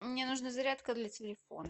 мне нужна зарядка для телефона